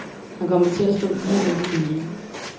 Han kommer til at stå lige midt i det hele.